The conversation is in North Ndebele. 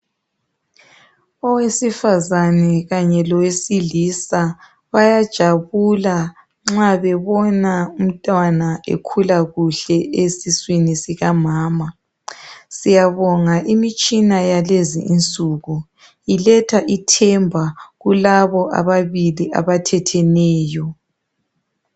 Owesifazane Kanye lowesilisa bayajabula nxa bebona umntwana ekhula kuhle esiswini sikanama syabonga imitshina yakulezinsuku iletha ithemba kulabo ababili abathetheneyo